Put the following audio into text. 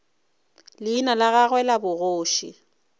leina la gagwe la bogoši